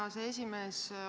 Hea aseesimees!